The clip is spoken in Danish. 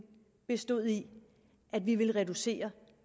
bestod i at vi ville reducere